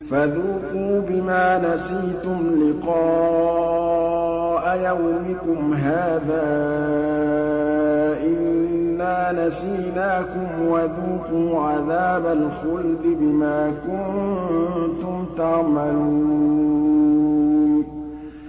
فَذُوقُوا بِمَا نَسِيتُمْ لِقَاءَ يَوْمِكُمْ هَٰذَا إِنَّا نَسِينَاكُمْ ۖ وَذُوقُوا عَذَابَ الْخُلْدِ بِمَا كُنتُمْ تَعْمَلُونَ